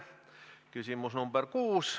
Küsimus nr 6.